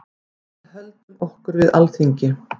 Við höldum okkur við Alþingi.